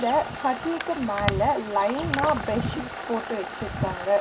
த கட்டுல்க்கு மேல லைனா பெட் ஷீட்ஸ் போட்டு வெச்சிர்க்காங்க.